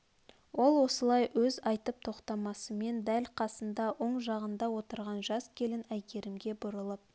ол осылай өз айтып тоқтасымен дәл қасында оң жағында отырған жас келін әйгерімге бұрылып